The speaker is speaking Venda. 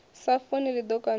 sa funi ḽi ḓo kandiwa